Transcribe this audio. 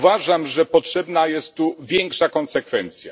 Uważam, że potrzebna jest tu większa konsekwencja.